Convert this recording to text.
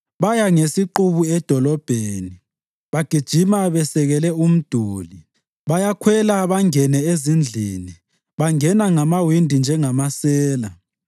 Baya ngesiqubu edolobheni; bagijima besekele umduli. Bayakhwela bangene ezindlini; bangena ngamawindi njengamasela.